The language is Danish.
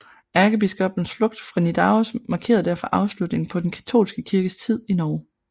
Ærkebiskoppens flugt fra Nidaros markerede derfor afslutningen på den katolske kirkes tid i Norge